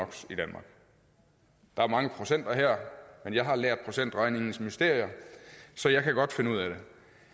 der er mange procenter her men jeg har lært procentregningens mysterier så jeg kan godt finde ud af det